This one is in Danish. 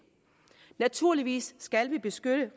naturligvis skal vi beskytte